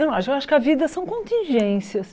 Eu não acho eu acho que a vida são contingências.